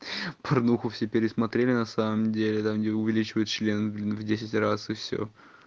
порнуху все пересмотрели на самом деле там где увеличивают член в десять раз и все